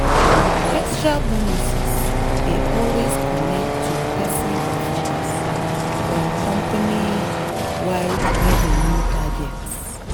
extra bonuses dey always connect to person performance or company-wide revenue targets.